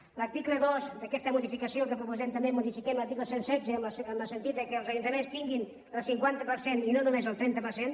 en l’article dos d’aquesta modificació que proposem també modifiquem l’article cent i setze en el sentit que els ajuntaments tinguin el cinquanta per cent i no només el trenta per cent